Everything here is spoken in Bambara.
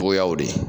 Togoyaw de